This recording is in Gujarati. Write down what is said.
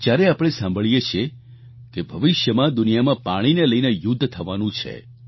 જ્યારે આપણે સાંભળીએ છીએ કે ભવિષ્યમાં દુનિયામાં પાણીને લઈને યુદ્ધ થવાનું છે